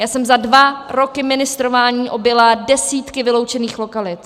Já jsem za dva roky ministrování objela desítky vyloučených lokalit.